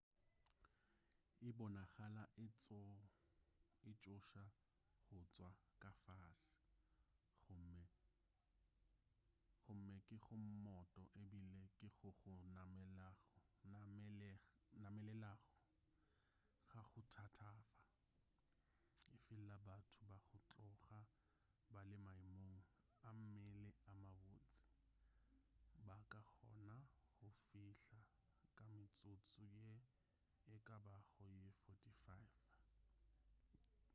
e bonagala e tšhoša go tšwa ka fase gomme ke go mmoto ebile ke go go namelelago ga go thatafa efela batho ba go tloga ba le maemong a mmele a mabotse ba ka kgona go fihla ka metsotso ye e ka bago ye 45